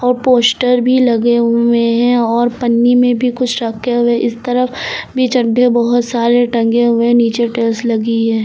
Poster भी लगे हुए हैं और पन्नी में भी कुछ रखे हुए इस तरफ भी चड्डे बहोत सारे टंगे हुए है नीचे टाइल्स लगी है।